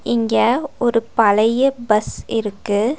இங்க ஒரு பழைய பஸ் இருக்கு.